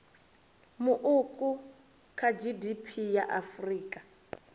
muuku kha gdp ya afrika